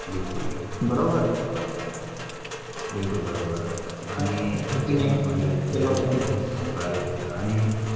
बिलकुल बिलकुल बरोबर अं आणि teachers द्वारे अं आणि